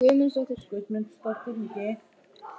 Til að skála í fyrir nýju ári.